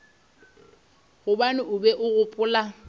gobane o be a gopola